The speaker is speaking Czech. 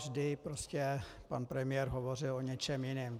Vždy prostě pan premiér hovořil o něčem jiném.